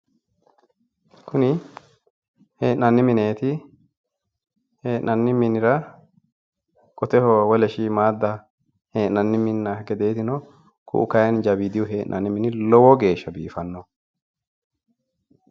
Kuni hee'nanni mineeti hee'nanni minira qoteho wole shiimmaadda hee'nanni minna gedeeti no ku'u kayi jawiidihu hee'nanni mini lowo geeshsha biifinoho.